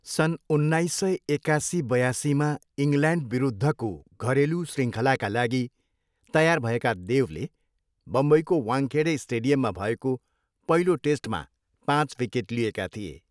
सन् उन्नाइस सय एकासी बयासीमा इङ्ग्ल्यान्डविरुद्धको घरेलु शृङ्खलाका लागि तयार भएका देवले बम्बईको वानखेडे स्टेडियममा भएको पहिलो टेस्टमा पाँच विकेट लिएका थिए।